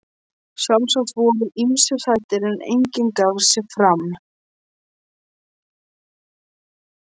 Sjálfsagt voru ýmsir hræddir, en enginn gaf sig fram.